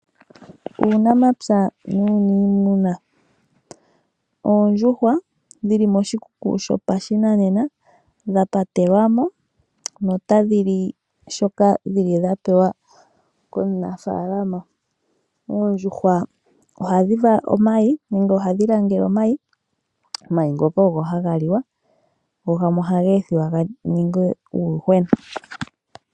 Uunafalama woondjuhwa ohadhi kala dhili moshikuku shoshinanena dhapatelwamo nokupewelwamo iikulya. Oondjuhwa ohadhi vala omayi ngono haga liwa gamwe ohage ethiwa ga ninge uuyuhwena.